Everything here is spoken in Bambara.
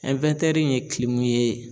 ye ye